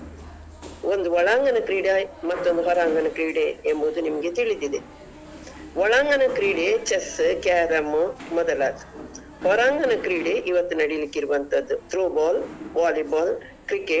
ಒಂದು ಒಳಾಂಗಣ ಕ್ರೀಡೆ ಮತ್ತೊಂದು ಹೊರಾಂಗಣ ಕ್ರೀಡೆ ಎಂಬುದು ನಿಮ್ಗೆ ತಿಳಿದಿದೆ. ಒಳಾಂಗಣ ಕ್ರೀಡೆ Chess, Carrom ಮೊದಲಾದವು ಹೊರಾಂಗಣ ಕ್ರೀಡೆ ಇವತ್ತು ನಡಿಲಿಕ್ಕಿರುವಂತದ್ದು.